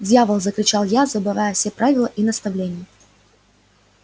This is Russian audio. дьявол закричал я забывая все правила и наставления